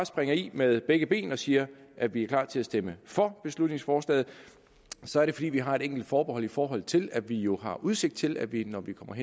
springer i med begge ben og siger at vi er klar til at stemme for beslutningsforslaget så er det fordi vi har et enkelt forbehold i forhold til at vi jo har udsigt til at vi når vi kommer